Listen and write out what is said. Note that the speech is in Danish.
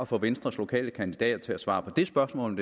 få venstres lokale kandidater til at svare på det spørgsmål